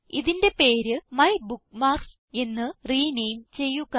ഇതിന്റെ പേര് മൈബുക്ക്മാർക്സ് എന്ന് റിനേം ചെയ്യുക